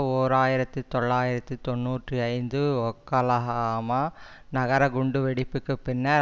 ஓர் ஆயிரத்தி தொள்ளாயிரத்தி தொன்னூற்றி ஐந்து ஒக்லகாமா நகர குண்டு வெடிப்புக்கு பின்னர்